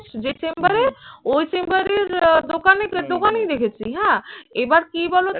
যে chamber এর ওই chamber এর আহ দোকানে দোকানেই দেখেছি হ্যাঁ এবার কি বলতো?